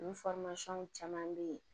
U caman bɛ yen